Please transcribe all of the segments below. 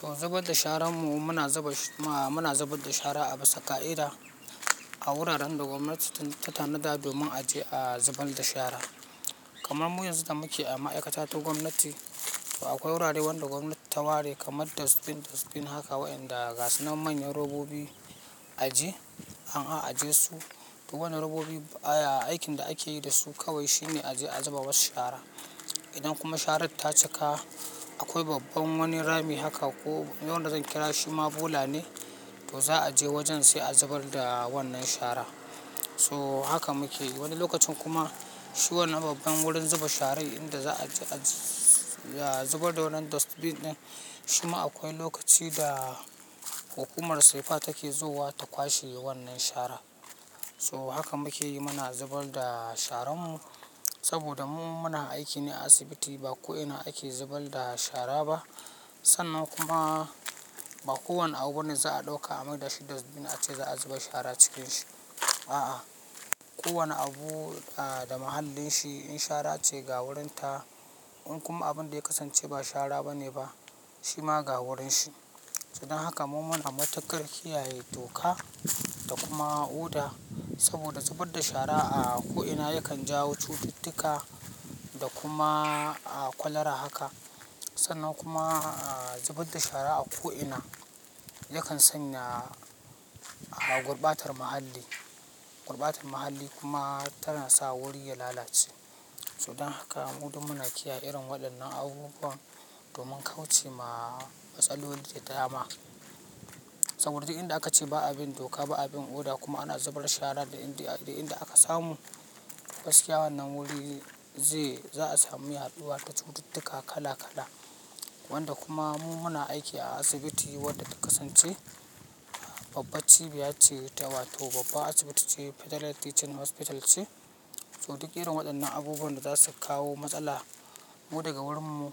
To zubar da sharan mu muna zuba, a muna zubar da shara a bisa ka'ida a wuraren da gwamnati ta tanada domin a je a zubar da shara. Kaman muyi yanzu da muke a ma'aikata ta gwamnati to akwai wurare wanda gwamnati ta ware kamar dustbin, dustbin haka wa'inda gasan manyan robobi a je an a'a aje su. To wannan robobi a aikin da akeyi dasu kawai shine a je a zuba was shara. Idan kuma sharan ta cika akwai babban wani rami haka ko wanda zan kira shi ma bola ne to za'a je wajen sai a zubar da wannan shara. So haka muke yi, wani lokacin kuma shi wannan babban wurin zuba sharai inda za'a je a zubar da wannan dustbin din, shi ma akwai lokaci da hukumar safa take zuwa ta kwashe wannan shara. So haka muke yi muna zubar da sharan mu saboda mu muna aiki ne a asibiti ba ko'ina ake zubar da shara ba sannan kuma ba kowane abu ne za'a dauka a mai da shi dustbin ace za'a zuba shara cikin shi. A'a, kowane abu da mahallin shi in shara ce ga wurin ta in kuma abinda ya kasance ba shara bane ba shima ga wurin shi to don haka mu muna matukar kiyaye doka da kuma oda saboda zubar da shara a ko ina yakan jawo cututtuka da kuma kwalara haka sannan kuma zubar da shara a ko'ina yakan sanya gurbatar muhalli, gurbatar muhalli kuma tana sa wuri ya lalace. Sidan haka mu duk muna kiyaye irin waɗannan abubuwan domin kauce ma matsala wanda ya dama. Saboda duk inda aka ce ba abin doka ba abin oda kuma ana zubar shara da inda, da inda aka samu gaskiya wannan wuri zai, za'a sami hadduwa da cututtuka kala kala wanda kuma mu muna aiki a asibiti wadda ta kasance babbar cibiya ce ta, wato babbar asibiti ce Federal Teaching Hospital ce. So duk irin waɗannan abubuwan da za su kawo matsala ko daga wurin mu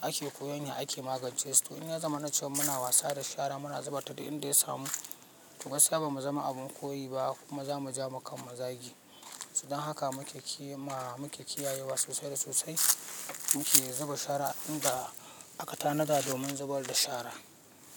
ake koyon ya ake magance su. To in ya zama na cewa muna wasa da shara muna zubar ta da inda ya samu to gaskiya ba mu zama abun koyi ba kuma za mu ja mu kan mazagi. To don haka muke cema muke kiyayewa sosai da sosai. Muke zuba shara inda aka tanada domin zubar da shara.